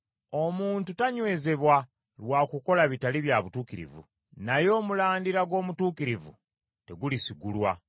Omuntu tanywezebwa lwa kukola bitali bya butuukirivu, naye omulandira gw’omutuukirivu tegulisigulwa.